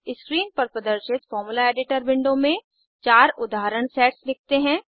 screen पर प्रदर्शित formula editor window में 4 उदाहरण सेट्स लिखते हैं